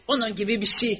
Onun kimi bir şey.